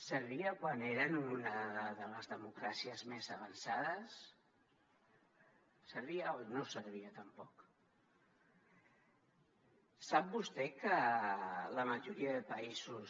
servia quan eren una de les democràcies més avançades servia o no servia tampoc sap vostè que la majoria de països